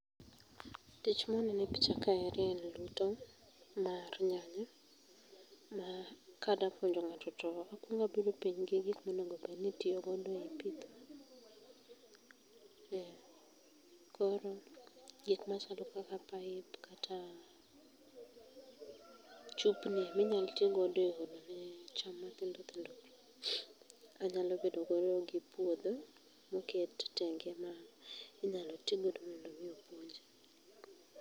Tich mwanene picha kaeri en luto mar nyanya, ma kada puonjo ng'ato to akwonga bedo piny gi gik monego bed ni itio godo e pitho. Eh koro gik machalo kaka pipe kata chupni miyalo tii godo e olo ne cham mathindo thindo pii, anyalo bedo godo gi puodho moket tenge ma inyalo tii godo mondo mii opuonji.